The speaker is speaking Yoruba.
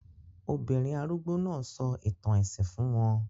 Obìnrin arúgbó náà sọ ìtàn ẹ̀sìn fún wọn